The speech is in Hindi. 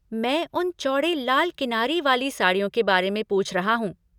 मैं उन चौड़े लाल किनारी वाली साड़ियों के बारे में पूछ रहा हूँ।